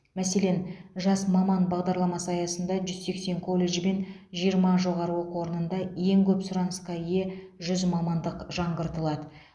мәселен жас маман бағдарламасы аясында жүз сексен колледж бен жиырма жоғары оқу орнында ең көп сұранысқа ие жүз мамандық жаңғыртылады